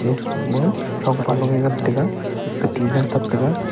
ismao throng pa long e ngan tega kati ga tap tega.